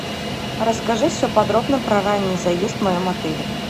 расскажи все подробно про ранний заезд в моем отеле